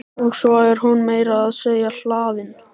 Og svo er hún meira að segja hlaðin.